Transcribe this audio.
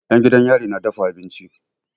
'Yan gidan yari na dafa abinci.